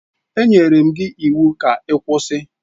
Enyere m gị iwu ka ị kwụsị!